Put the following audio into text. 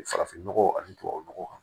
Farafinnɔgɔ ani tubabu nɔgɔ kan